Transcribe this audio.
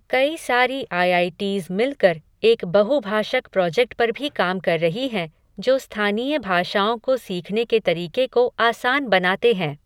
कई सारी IITs मिलकर एक बहुभाषक प्रोजेक्ट पर भी काम कर रही हैं जो स्थानीय भाषाओं को सीखने के तरीके को आसान बनाते हैं।